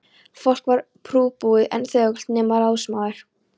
Fólk var prúðbúið en þögult, nema ráðsmaður.